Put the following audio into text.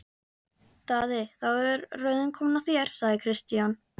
Daði, þá er röðin komin að þér, sagði Christian.